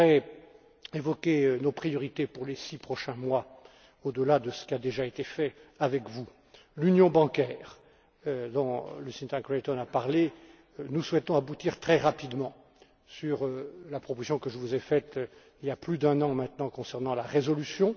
Je voudrais évoquer nos priorités pour les six prochains mois au delà de ce qui a déjà été fait avec vous. S'agissant de l'Union bancaire, dont Lucinda Creighton a parlé, nous souhaitons aboutir très rapidement sur la proposition que je vous ai faite, il y a plus d'un an maintenant, concernant la résolution.